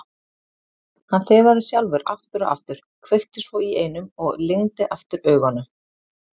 Hann þefaði sjálfur aftur og aftur, kveikti svo í einum og lygndi aftur augunum.